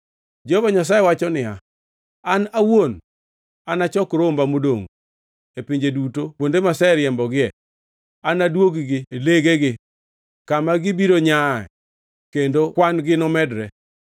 Jehova Nyasaye wacho niya, “An awuon anachok romba modongʼ e pinje duto kuonde maseriembogie anadwog-gi legegi kama gibiro nyaa kendo kwan-gi nomedre.